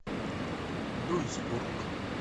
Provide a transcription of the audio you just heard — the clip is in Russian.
дуйсбург